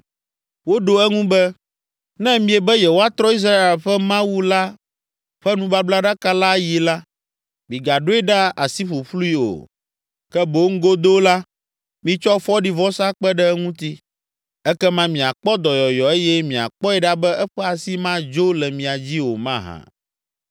Woɖo eŋu be, “Ne miebe yewoatrɔ Israel ƒe Mawu la ƒe nubablaɖaka la ayi la, migaɖoe ɖa asi ƒuƒlui o, ke boŋ godoo la, mitsɔ fɔɖivɔsa kpe ɖe eŋuti. Ekema miakpɔ dɔyɔyɔ eye miakpɔe ɖa be eƒe asi madzo le mia dzi o mahã?”